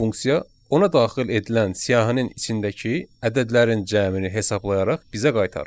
Bu funksiya ona daxil edilən siyahinin içindəki ədədlərin cəmini hesablayaraq bizə qaytarır.